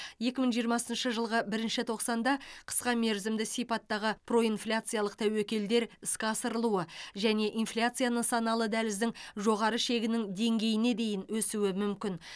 екі мың жиырмасыншы жылғы бірінші тоқсанда қысқа мерзімді сипаттағы проинфляциялық тәуекелдер іске асырылуы және инфляция нысаналы дәліздің жоғары шегінің деңгейіне дейін өсуі мүмкін